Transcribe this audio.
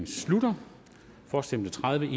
slutter for stemte tredive